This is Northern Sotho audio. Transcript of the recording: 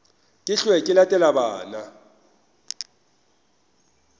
ke hwe ke latele bana